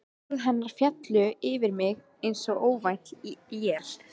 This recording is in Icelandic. Orð hennar féllu yfir mig einsog óvænt él.